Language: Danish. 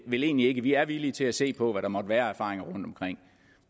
vel egentlig ikke vi er villige til at se på hvad der måtte være af erfaringer rundtomkring